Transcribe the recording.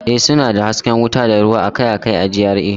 Ee, suna da hasken wuta da ruwa akai-akai a GRA